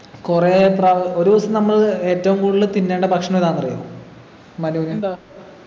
കൊറേ പ്രാവ ഒരൂസം നമ്മള് ഏറ്റവും കൂടുതൽ തിന്നേണ്ട ഭക്ഷണം ഏതാന്നറിയോ മനുവിന്